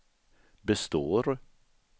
består